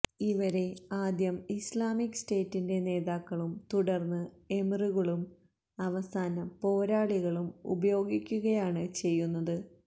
ഇവരെ ആദ്യം ഇസ്ലാമിക് സ്റ്റേറ്റിന്റെ നേതാക്കളും തുടർന്ന് എമിറുകളും അവസാനം പോരാളികളും ഉപയോഗിക്കുകയാണ് ചെയ്യുന്നത്